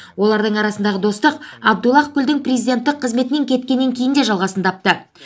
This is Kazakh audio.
олардың арасындағы достық абдуллах гүлдің президенттік қызметінен кеткеннен кейін де жалғасын тапты